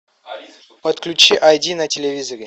подключи ай ди на телевизоре